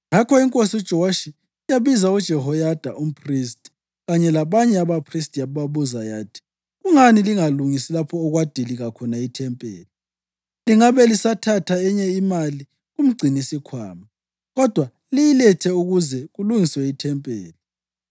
Ngakho inkosi uJowashi yabiza uJehoyada umphristi kanye labanye abaphristi yababuza yathi, “Kungani lingalungisi lapho okwadilika khona ethempelini? Lingabe lisathatha enye imali kumgcinisikhwama, kodwa liyilethe ukuze kulungiswe ethempelini.”